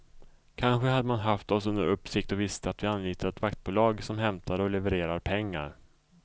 Kanske hade man haft oss under uppsikt och visste att vi anlitar ett vaktbolag som hämtar och levererar pengar.